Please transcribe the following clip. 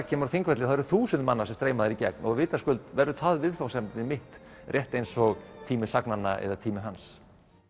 kemur á Þingvelli það eru þúsundir manna sem streyma þar í gegn og vitaskuld verður það viðfangsefni mitt rétt eins og tími sagnanna er tími hans